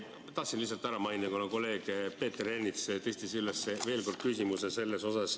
Tahtsin lihtsalt ära mainida, kuna kolleeg Peeter Ernits tõstatas veel kord selle küsimuse.